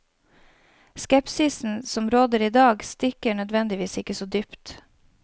Skepsisen som råder i dag, stikker nødvendigvis ikke så dypt.